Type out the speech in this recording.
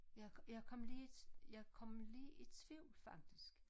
Jeg kom jeg kom lige i jeg kom lige i tvivl faktisk